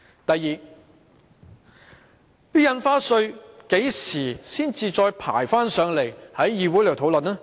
第二，《條例草案》何時才再排期交付議會討論？